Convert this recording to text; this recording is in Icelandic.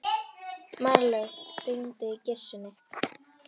Marlaug, hringdu í Gissunni.